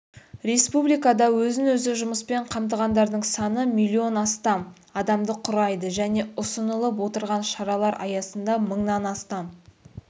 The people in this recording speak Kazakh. республикада өзін-өзі жұмыспен қамтығандардың саны миллион астам адамды құрайды және ұсынылып отырған шаралар аясында мыңнан астам